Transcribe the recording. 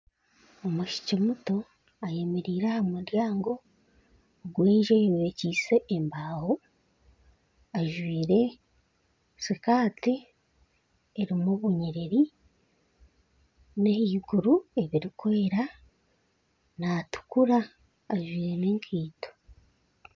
Omwishiki muto ayemereire aha muryaango gwenju eyombekyiise embaaho ajwaire sikaati erimu obunyiriri n'ahaiguru ebirikweera natukura ajwaire nana enkaito